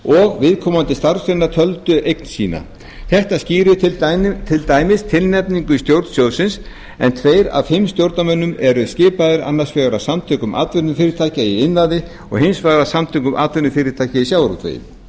og viðkomandi starfsgreinar töldu eign sína þetta skýrir til dæmis tilnefningar í stjórn sjóðsins en tveir af fimm stjórnarmönnum eru skipaðir annars vegar af samtökum atvinnufyrirtækja í iðnaði og hins vegar af samtökum atvinnufyrirtækja í sjávarútvegi